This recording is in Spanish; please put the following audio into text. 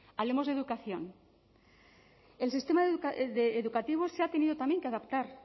hablemos de educación el sistema educativo se ha tenido también que adaptar